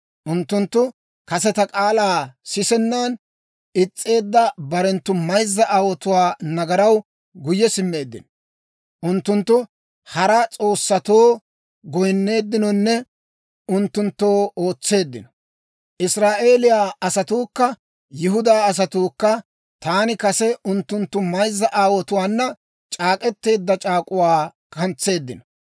Unttunttu kase ta k'aalaa sisennan is's'eedda barenttu mayzza aawotuwaa nagaraw guyye simmeeddino. Unttunttu hara s'oossatoo goynneeddinonne unttunttoo ootseeddino. Israa'eeliyaa asatuukka Yihudaa asatuukka taani kase unttunttu mayzza aawotuwaana c'aak'k'eteedda c'aak'uwaa kantseeddino.